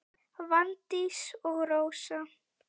Vigdís og Rósa.